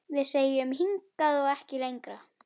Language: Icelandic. Við segjum: Hingað og ekki lengra!